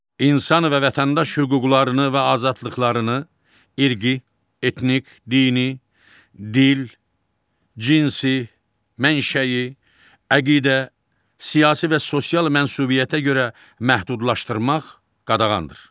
İnsan və vətəndaş hüquqlarını və azadlıqlarını irqi, etnik, dini, dil, cinsi, mənşəyi, əqidə, siyasi və sosial mənsubiyyətə görə məhdudlaşdırmaq qadağandır.